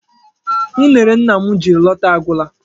Unere nna m jiri lọta agwụla.